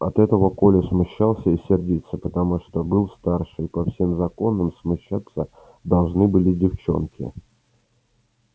от этого коля смущался и сердился потому что был старше и по всем законам смущаться должны были девчонки